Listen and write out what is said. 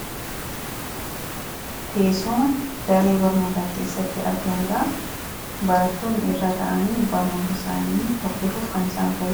Teessuma daree barnootaa keessatti argamudha. Barattoonni irra taa'anii barnoota isaanii hordofuuf kan isaan fayyadudha.